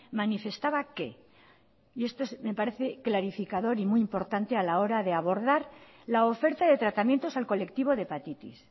manifestaba que y esto me parece clarificador y muy importante a la hora de abordar la oferta de tratamientos al colectivo de hepatitis